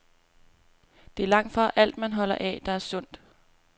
Det er langtfra alt, man holder af, der er sundt.